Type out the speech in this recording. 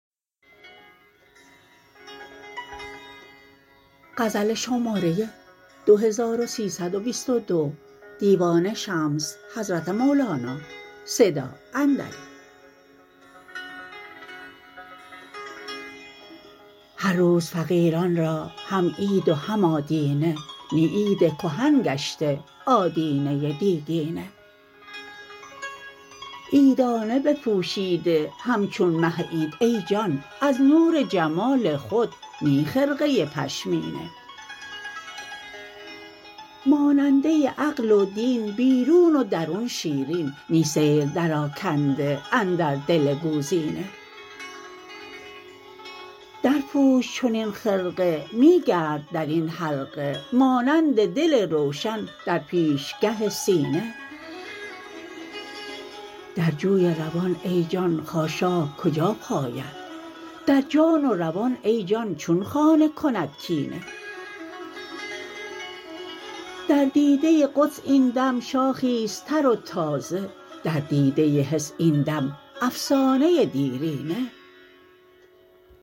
هر روز فقیران را هم عید و هم آدینه نی عید کهن گشته آدینه دیگینه عیدانه بپوشیده همچون مه عید ای جان از نور جمال خود نی خرقه پشمینه ماننده عقل و دین بیرون و درون شیرین نی سیر درآکنده اندر دل گوزینه درپوش چنین خرقه می گرد در این حلقه مانند دل روشن در پیشگه سینه در جوی روان ای جان خاشاک کجا پاید در جان و روان ای جان چون خانه کند کینه در دیده قدس این دم شاخی است تر و تازه در دیده حس این دم افسانه دیرینه